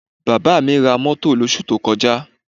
Bàbá mi ra mọ́tò lósù tí ó kọjá